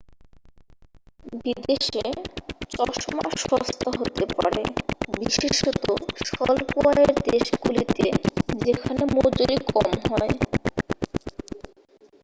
বিদেশে চশমা সস্তা হতে পারে বিশেষত স্বল্প-আয়ের দেশগুলিতে যেখানে মজুরী কম হয়